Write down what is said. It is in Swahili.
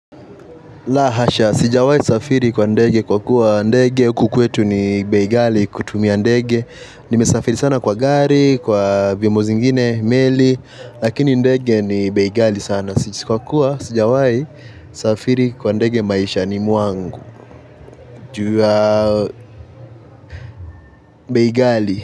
La, hasha. Sijawai safiri kwa ndege kwa kuwa ndege. Huku kwetu ni bei ghali kutumia ndege. Nimesafiri sana kwa gari, kwa vyombo zingine, meli. Lakini ndege ni beigali sana. Isipokuwa, sijawai safiri kwa ndege maishani mwangu. Jua ya bei ghali.